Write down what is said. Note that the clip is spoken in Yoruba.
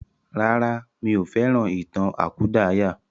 Rárá, mí ò fẹ́ràn ìtàn àkúdàáyà.